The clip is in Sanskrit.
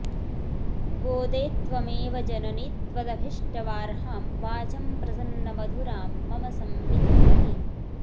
गोदे त्वमेव जननि त्वदभिष्टवार्हां वाचं प्रसन्नमधुरां मम संविधेहि